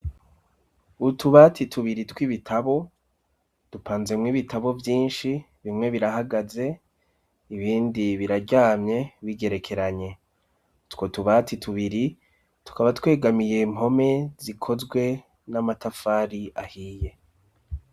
Utubati tubiri tw'ibitabo dupanzemwo ibitabo vyinshi bimwe birahagaze ibindi biraryamye bigerekeranye two tubati tubiri tukaba twegamiye impome zikozwe n'amatafari ahiye.